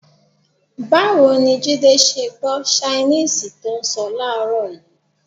Báwo ni Jídé ṣe gbọ́ ṣainíìsì tó ń sọ láàárọ̀ yìí?